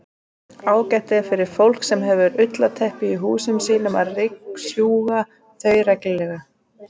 Ágætt er fyrir fólk sem hefur ullarteppi í húsum sínum að ryksjúga þau reglulega.